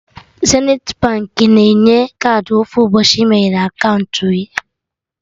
Zenithi Baankị na-enye kaadị ofu ụbọchị ị meghee aka unu